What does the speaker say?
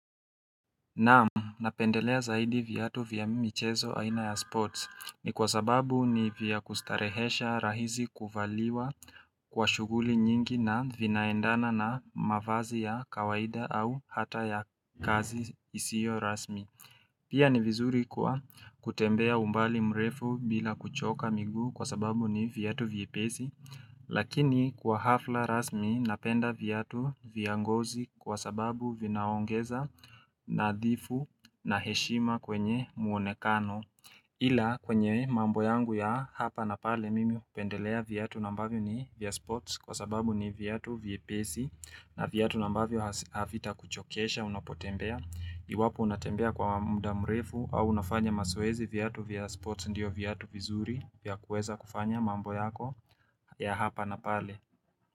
Naam, napendelea zaidi viatu vya michezo aina ya sports. Ni kwa sababu ni vya kustarehesha, rahisi kuvaliwa kwa shuguli nyingi, na vinaendana na mavazi ya kawaida au hata ya kazi isiyo rasmi Pia ni vizuri kwa kutembea umbali mrefu bila kuchoka miguu kwa sababu ni viatu vyepesi Lakini kwa hafla rasmi napenda viatu vya ngozi kwa sababu vinaongeza nadhifu na heshima kwenye muonekano Ila kwenye mambo yangu ya hapa na pale mimi hupendelea viatu ambavyo ni vya sports kwa sababu ni viatu vyepesi na viatu ambavyo havitakuchokesha unapotembea. Iwapo unatembea kwa muda mrefu au unafanya mazoezi viatu vya sports ndiyo viatu vizuri vya kuweza kufanya mambo yako ya hapa na pale.